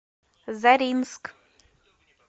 заринск